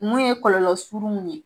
Mun ye kɔlɔlɔ surunw ye